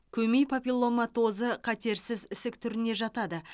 көмей папилломатозы қатерсіз ісік түріне жатады